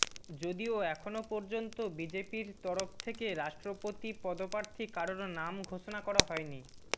যদিও এখনও পর্যন্ত বিজেপির তরফ থেকে রাষ্ট্রপতি পদপ্রার্থী কারোর নাম ঘোষণা করা হয়নি